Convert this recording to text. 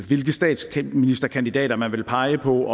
hvilken statsministerkandidat man vil pege på